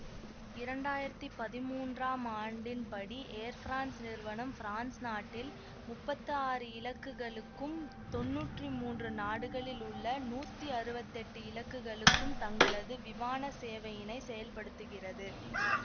இரண்டாயிரத்தி பதிமூன்றாம் ஆண்டின்படி ஏர் பிரான்ஸ் நிறுவனம் பிரான்ஸ் நாட்டில் முப்பத்தாறு இலக்குகளுக்கும் தொன்னூற்றி மூன்று நாடுகளில் உள்ள நூத்தி அறுவத்தி எட்டு இலக்குகளுக்கும் தங்களது விமான சேவையினை செயல்படுத்துகிறது